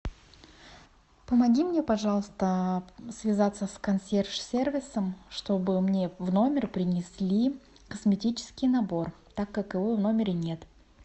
помоги мне пожалуйста связаться с консьерж сервисом чтобы мне в номер принесли косметический набор так как его в номере нет